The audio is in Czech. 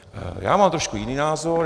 Já mám trošku jiný názor.